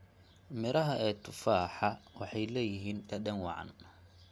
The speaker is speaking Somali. Midhaha ee tufaha waxay leeyihiin dhadhan wacan.